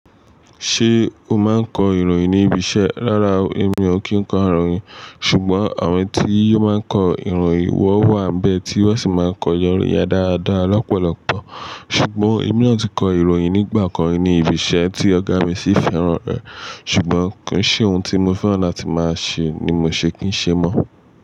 Ṣé o máa ń kọ ìròyìn ní ibi iṣẹ́? Rárá, èmi ò kí ń kọ ìròyìn. Ṣùgbọ́n àwọn tí yóò máa ń kọ ìròyìn wọ wà bẹ́ẹ̀ tí wọ́n sì máa ń kọ ìròyìn yen dáadáa lọ́pọ̀lọpọ̀. Ṣùgbọ́n èmi náà tíì kọ ìròyìn nígbà kan ní ibi iṣẹ́ tí ọ̀gá mi sì fẹ́ràn rẹ̀. Ṣùgbọ́n kò ń ṣe ohun tí mo fẹ́ràn láti máa ṣe ni mo ṣe kí n ṣe mọ́